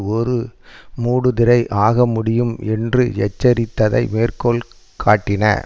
ஒரு மூடுதிரை ஆக முடியும் என்று எச்சரித்ததை மேற்கோள் காட்டின